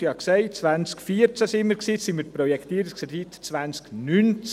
Wir befanden uns im Jahr 2014, jetzt sind wir bei der Projektierung im Jahr 2019.